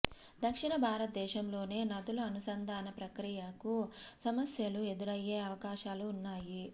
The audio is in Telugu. దక్షిణ భారతదేశంలోనే నదుల అనుసంధాన ప్రక్రియకు సమస్యలు ఎదురయ్యే అవకాశాలు ఉన్నాయి